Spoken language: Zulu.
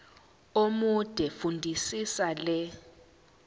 omude fundisisa le